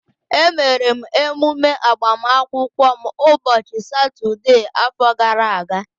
Emere m emume agbamakwụkwọ m ụbọchị Satọdee afọ gara aga